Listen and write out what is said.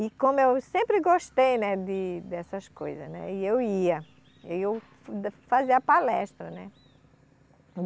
E como eu sempre gostei, né, de dessas coisas, né, e eu ia, eu fu, fazer a palestra, né.